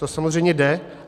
To samozřejmě jde.